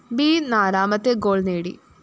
B നാലാമത്തെ goal നേടി